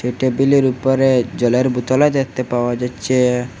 টেবিলের উপরে জলের বোতলও দেখতে পাওয়া যাচ্ছে।